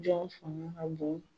Jɔn fanga ka bon